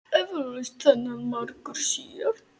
Eflaust þennan margur sér.